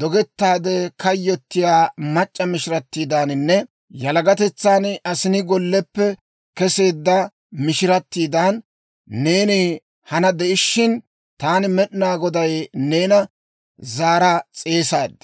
dogettaade kayyotiyaa mac'c'a mishirattiidaaninne yalagatetsan asinaa golleppe keseedda mishiratiidan neeni hana de'ishin, taani Med'inaa Goday neena zaara s'eesaad.